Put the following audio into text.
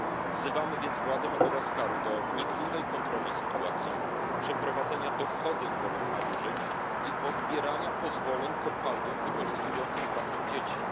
Wzywamy więc władze Madagaskaru do wnikliwej kontroli sytuacji, przeprowadzenia dochodzeń wobec nadużyć i odbierania pozwoleń kopalniom wykorzystującym pracę dzieci.